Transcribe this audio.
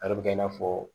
A bɛ kɛ i n'a fɔ